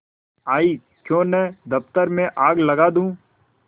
आयीक्यों न दफ्तर में आग लगा दूँ